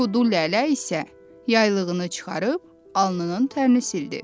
Kudu Lələ isə yaylığını çıxarıb alnının tərini sildi.